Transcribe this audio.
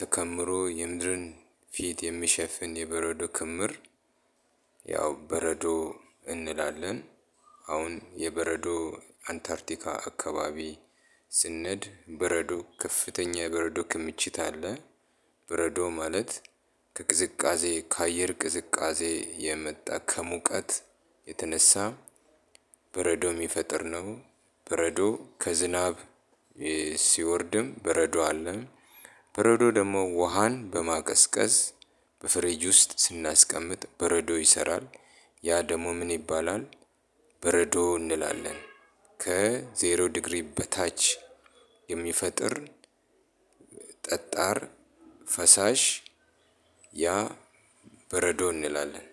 ተከምሮ የምድርን ፊት የሚሸፍን የበረዶ ክምር ያው በረዶ እንላለን። አሁን የበረዶ አንታርቲካ አካባቢ ስንሄድ በረዶ ከፍተኛ የበረዶ ክምችት አለ በረዶ ማለት ከቅዝቃዜ ከአየር ቅዝቃዜ የመጣ ከሙቀት የተነሳ በረዶ የሚፈጥር ነው። በረዶ ከዝናብ ሲወርድም በረዶ አለ በረዶ ደግሞ ውሃን በማቀዝቀዝ በፍሬጅ ውስጥ ስናስቀምጥ በረዶ ይሰራል ያ ደግሞ ምን ይባላል በረዶ እንላለን። ከዜሮ ዲግሪ በታች የሚፈጥር ጠጣር ፈሳሽ ያ በረዶ እንላለን።